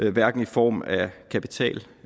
er hverken i form af kapital